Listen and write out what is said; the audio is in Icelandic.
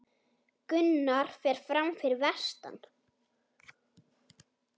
Gunnar fer fram fyrir vestan